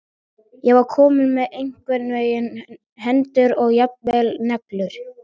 Ég var komin með einhvern veginn hendur og jafnvel neglur.